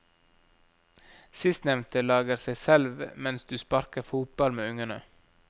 Sistnevnte lager seg selv mens du sparker fotball med ungene.